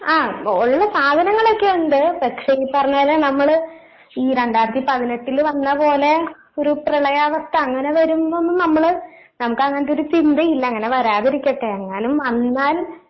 ആഹ് ഉള്ള സാധനങ്ങളൊക്കെ ഉണ്ട് പക്ഷെ ഈ പറഞ്ഞപോലെ നമ്മള് ഈ രണ്ടായിരത്തി പതിനെട്ടില് വന്നപോലെ ഒരു പ്രളയാവസ്ഥ അങ്ങനെ വരുമ്പം നമ്മള് നമുക്ക് അങ്ങനത്തൊരു ചിന്തയില്ല അങ്ങനെ വരാതിരിക്കട്ടെ എങ്ങാലും വന്നാൽ